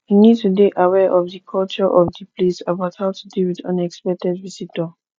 you need to dey aware of di culture of di place about how to deal with unexpected visitor